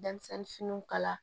Denmisɛnnin finiw kala